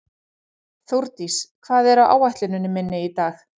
Þórdís, hvað er á áætluninni minni í dag?